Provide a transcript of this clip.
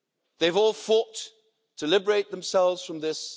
They have all fought to liberate themselves from this.